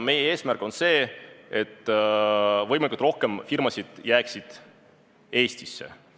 Meie eesmärk on tagada, et võimalikult paljud firmad jääksid Eestisse.